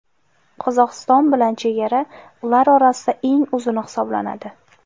Qozog‘iston bilan chegara ular orasida eng uzuni hisoblanadi.